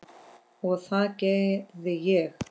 Og það gerði ég.